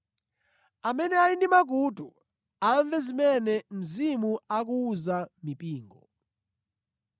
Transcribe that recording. Amene ali ndi makutu, amve zimene Mzimu akuwuza mipingo.”